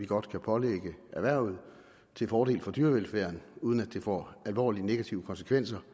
godt kan pålægge erhvervet til fordel for dyrevelfærden uden at det får alvorligt negative konsekvenser